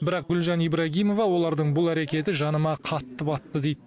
бірақ гүлжан ибрагимова олардың бұл әрекеті жаныма қатты батты дейді